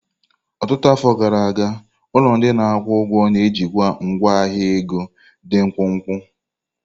Ọtụtụ afọ gara aga, ụlọ ndị na-akwụ ụgwọ na-ejikwa ngwa ahịa ego dị mkpụmkpụ.